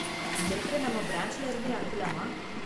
இங்க இருக்கற நம்ம பிரான்ச்ல இருந்தே அனுப்பலாமா?